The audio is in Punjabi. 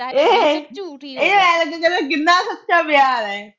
ਈ ਐਵੇਂ ਦੀਆਂ ਗੱਲਾਂ, ਕਿੰਨਾ ਸੱਚਾ ਪਿਆਰ ਏ।